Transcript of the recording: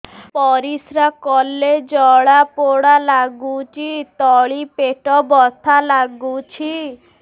ପରିଶ୍ରା କଲେ ଜଳା ପୋଡା ଲାଗୁଚି ତଳି ପେଟ ବଥା ଲାଗୁଛି